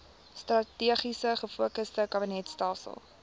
strategies gefokusde kabinetstelsel